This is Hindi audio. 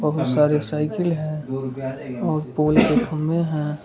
बहुत सारे साइकिल हैं और पोल के खंभे हैं।